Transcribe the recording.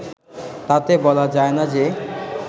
তাতে বলা যায় না যে